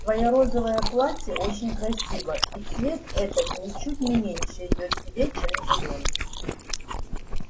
твоя розовое платье очень красиво и цвет этот ничуть не меньше идёт тебе чем зелёный